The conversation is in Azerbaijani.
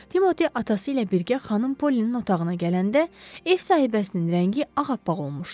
Timoti atası ilə birgə xanım Polinin otağına gələndə ev sahibəsinin rəngi ağappaq olmuşdu.